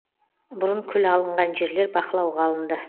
бұрын күл алынған жерлер бақылауға алынды